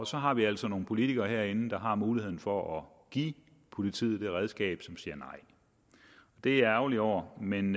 så har vi altså nogle politikere herinde der har muligheden for at give politiet det redskab men som siger nej det er jeg ærgerlig over men